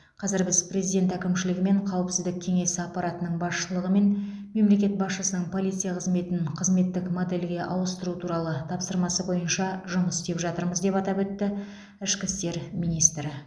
қазір біз президент әкімшілігі мен қауіпсіздік кеңесі аппаратының басшылығымен мемлекет басшысының полиция қызметін қызметтік модельге ауыстыру туралы тапсырмасы бойынша жұмыс істеп жатырмыз деп атап өтті ішкі істер министрі